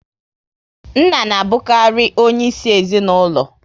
Nna na abukari onye isi ezinaụlọ